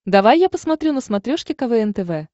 давай я посмотрю на смотрешке квн тв